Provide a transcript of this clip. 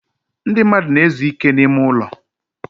ndị mmadụ na-ezu ike n'ime ụlọ.